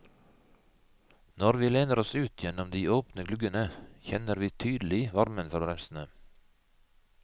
Når vi lener oss ut gjennom de åpne gluggene, kjenner vi tydelig varmen fra bremsene.